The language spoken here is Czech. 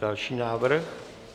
Další návrh.